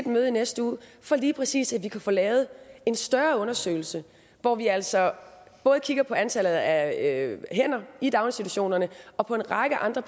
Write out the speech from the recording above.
møde i næste uge for lige præcis at få lavet en større undersøgelse hvor vi altså både kigger på antallet af hænder i daginstitutionerne og på en række andre